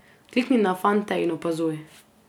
Klikni na fante in opazuj.